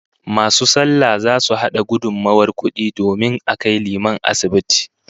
Masu sallah zasu hada gudummawar kudi domin a kai liman asibiti